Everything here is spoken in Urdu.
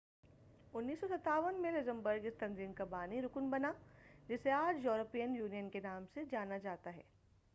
1957 میں لگزمبرگ اس تنظیم کا بانی رکن بنا جسے آج یورپی یونین کے نام سے جانا جاتا ہے